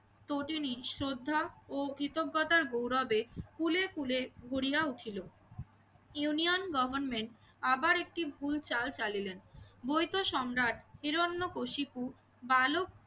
তটীনির শ্রদ্ধা ও কৃতজ্ঞতার গৌরবে ফুলে ফুলে ভরিয়া উঠিল। ইউনিয়ন গভর্নমেন্ট আবার একটি ভুল চাল চালিলেন। মৈত সম্রাট হিরণ্যকশিপু বালক